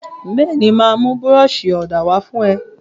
Bẹ́ẹ̀ni, màá mú búrọ́ọ̀ṣì ọ̀dà wá fún ẹ.